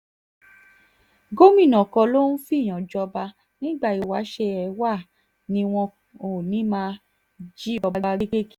gomina kọ́ ló ń fẹ́ẹ̀yàn jọba nígbà ìwáṣẹ̀ ẹ wàá ni wọn ò ní í máa jí ọba gbé kiri